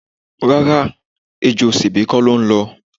Rárá, ejò sèbé kò ló ń lọ.